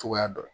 Cogoya dɔ la